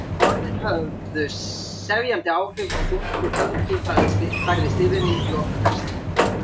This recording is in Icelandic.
Orðin höfðu sefjandi áhrif og þungur höfgi færðist yfir mig í lok hvers tíma.